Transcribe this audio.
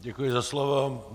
Děkuji za slovo.